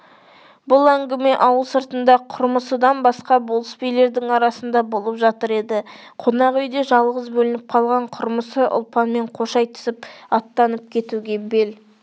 бұл әңгіме ауыл сыртында құрмысыдан басқа болыс билердің арасында болып жатыр еді қонақ үйде жалғыз бөлініп қалған құрмысы ұлпанмен қош айтысып аттанып кетуге бел